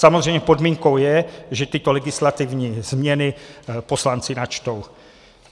Samozřejmě podmínkou je, že tyto legislativní změny poslanci načtou.